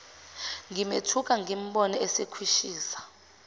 ngimethuka ngimbone esekhwishiza